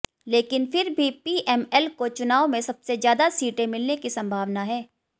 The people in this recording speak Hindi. लेकिन फिर भी पीएमएल को चुनाव में सबसे ज़्यादा सीटें मिलने की संभावना है